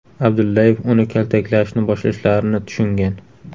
Abdullayev uni kaltaklashni boshlashlarini tushungan.